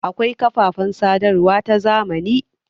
Akwai kafafen sadarwa ta zamani.